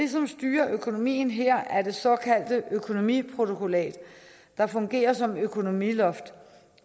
styrer økonomien her er det såkaldte økonomiprotokollat der fungerer som økonomiloft